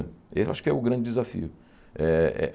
Eu acho que é o grande desafio eh eh.